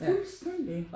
Fuldstændig